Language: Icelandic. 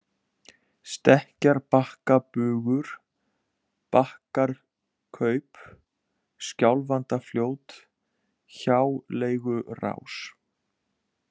Stekkjarbakkabugur, Bakkahkaup, Skjálfandafljót, Hjáleigurás